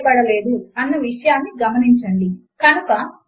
రెండు సమీకరణములను విడగొట్టడము కొరకు మనము రెండు హాష్ సింబల్ లను వాడాము